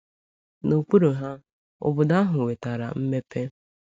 N'okpuru ha, obodo ahụ nwetara mmepe.